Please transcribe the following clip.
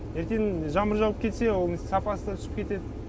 ертең жаңбыр жауып кетсе оның сапасы да түсіп кетеді